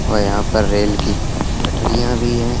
और यहाँ पर रेल की पटरियाँ भी हैं।